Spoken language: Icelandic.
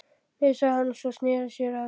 Nei, sagði hann svo, og sneri sér að